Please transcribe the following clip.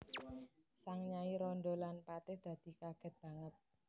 Sang nyai randha lan patih dadi kagèt banget